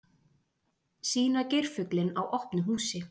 Sýna geirfuglinn á opnu húsi